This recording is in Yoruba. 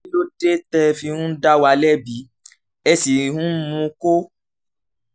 kí ló dé tẹ́ ẹ fi ń dá wa lẹ́bi ẹ sì ń múkó